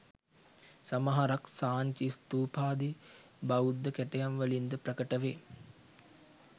සමහරක් සාංචි ස්ථූපාදි බෞද්ධ කැටයම් වලින්ද ප්‍රකට වේ.